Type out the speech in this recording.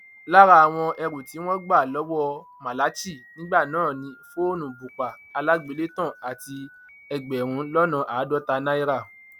lára àwọn ẹrù tí wọn gbà lọwọ malachy nígbà náà ni fóònù bùpà alágbélétàn àti ẹgbẹrún lọnà àádọta náírà